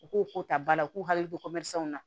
U k'u ko ta ba la k'u hakili to ko na